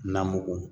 Na mugu